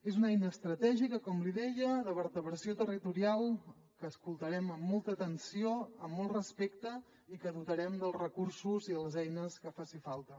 és una eina estratègica com li deia de vertebració territorial que escoltarem amb molta atenció amb molt respecte i que dotarem dels recursos i les eines que facin falta